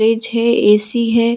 Fridge है AC. है।